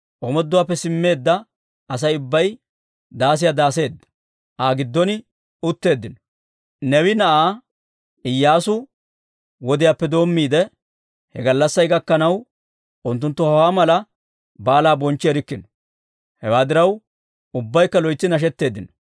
Omooduwaappe simmeedda Asay ubbay daasiyaa daaseedda, Aa giddon utteeddino. Neewe na'aa Iyyaasu wodiyaappe doommiide, he gallassay gakkanaw, unttunttu hawaa mala baalaa bonchchi erikkino. Hewaa diraw, ubbaykka loytsi nashetteeddino.